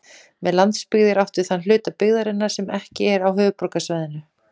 Með landsbyggð er átt við þann hluta byggðarinnar sem ekki er á höfuðborgarsvæðinu.